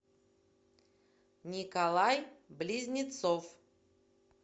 николай близнецов